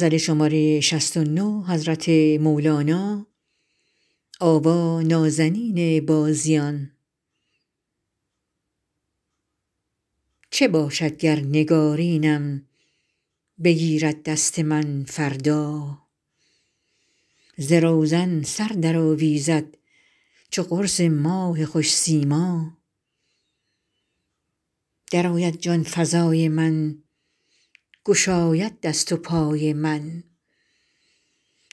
چه باشد گر نگارینم بگیرد دست من فردا ز روزن سر درآویزد چو قرص ماه خوش سیما درآید جان فزای من گشاید دست و پای من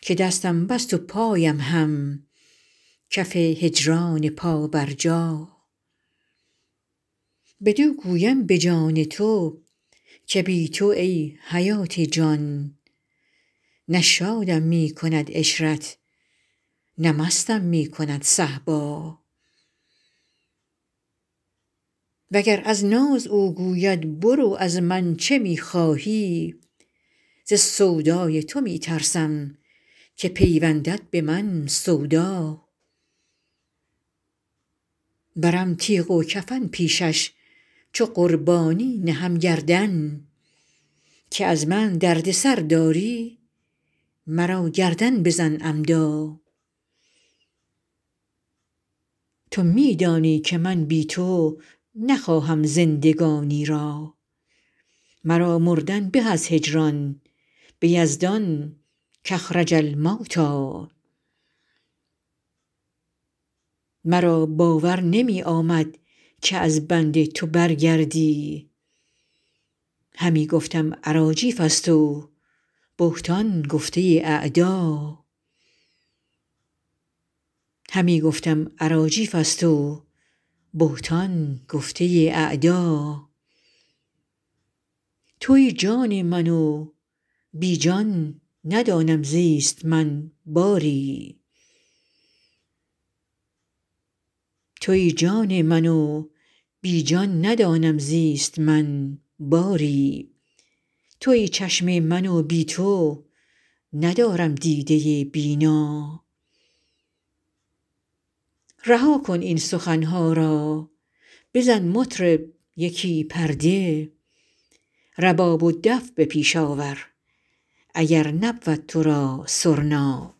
که دستم بست و پایم هم کف هجران پابرجا بدو گویم به جان تو که بی تو ای حیات جان نه شادم می کند عشرت نه مستم می کند صهبا وگر از ناز او گوید برو از من چه می خواهی ز سودای تو می ترسم که پیوندد به من سودا برم تیغ و کفن پیشش چو قربانی نهم گردن که از من دردسر داری مرا گردن بزن عمدا تو می دانی که من بی تو نخواهم زندگانی را مرا مردن به از هجران به یزدان کاخرج الموتی مرا باور نمی آمد که از بنده تو برگردی همی گفتم اراجیفست و بهتان گفته اعدا توی جان من و بی جان ندانم زیست من باری توی چشم من و بی تو ندارم دیده بینا رها کن این سخن ها را بزن مطرب یکی پرده رباب و دف به پیش آور اگر نبود تو را سرنا